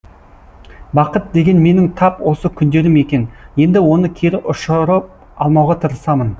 бақыт деген менің тап осы күндерім екен енді оны кері ұшырып алмауға тырысамын